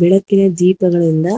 ಬೆಳಕಿನ ದೀಪಗಳಿಂದ